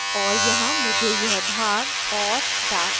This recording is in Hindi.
और यहाँ मुझे यह भाग और darken करना है